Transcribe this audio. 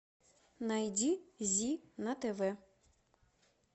найди зи на тв